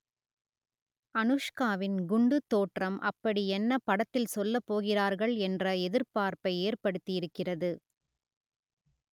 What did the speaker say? அனுஷ்காவின் குண்டுத் தோற்றம் அப்படியென்ன படத்தில் சொல்லப் போகிறார்கள் என்ற எதிர்பார்ப்பை ஏற்படுத்தியிருக்கிறது